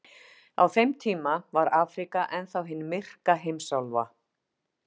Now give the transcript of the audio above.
Á þeim tíma var Afríka enn þá hin myrka heimsálfa.